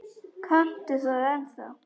Kanntu það ennþá?